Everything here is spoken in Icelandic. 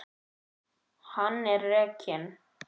Hann er rekinn.